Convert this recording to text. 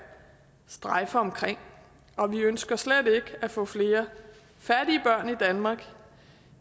strejfe omkring vi ønsker slet ikke at få flere fattige børn i danmark